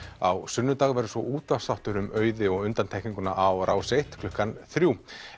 á sunnudag verður svo útvarpsþáttur um Auði og undantekninguna á Rás eitt klukkan þrjú